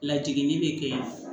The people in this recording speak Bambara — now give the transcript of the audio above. Lajiginni bɛ kɛ